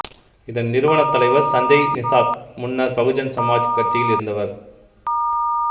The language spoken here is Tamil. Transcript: இதன் நிறுவனத் தலைவர் சஞ்சய் நிசாத் முன்னர் பகுஜன் சமாஜ் கட்சியில் இருந்தவர்